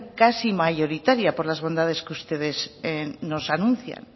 casi mayoritaria por las bondades que ustedes nos anuncian